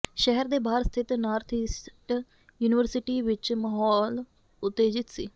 ਸ਼ਹਿਰ ਦੇ ਬਾਹਰ ਸਥਿਤ ਨਾਰਥ ਈਸਟ ਯੂਨੀਵਰਸਿਟੀ ਵਿੱਚ ਮਹੌਲ ੳਤੇਜਿਤ ਸੀ